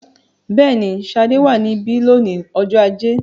Bẹ́ẹ̀ni, Ṣadé wà níbí lónìí ọjọ́ ajé.